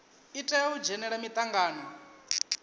i tea u dzhenela mitangano